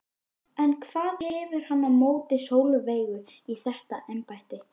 En hvað hefur hann á móti Sólveigu í þetta embætti?